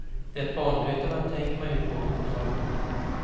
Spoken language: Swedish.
Det banbrytande tänker man ju på fortfarande.